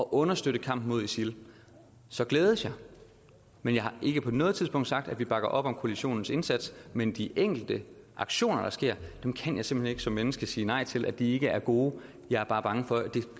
understøtte kampen mod isil så glædes jeg men jeg har ikke på noget tidspunkt sagt at vi bakker op om koalitionens indsats men de enkelte aktioner der sker kan jeg simpelt hen ikke som menneske sige nej til at de ikke er gode jeg er bare bange for det